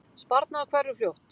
Sparnaður hverfur fljótt